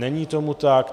Není tomu tak.